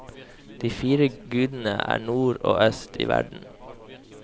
De fire gudene er nord og øst i verden.